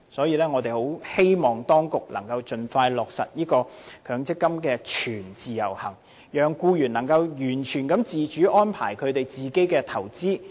因此，我們十分希望當局能夠盡快落實強積金全自由行，讓僱員能夠完全自主地安排他們的投資。